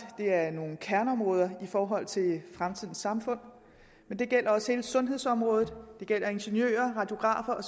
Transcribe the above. det er nogle kerneområder i forhold til fremtidens samfund men det gælder også hele sundhedsområdet og det gælder ingeniører radiografer og